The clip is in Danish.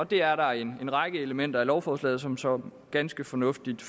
det er der en række elementer i lovforslaget som som ganske fornuftigt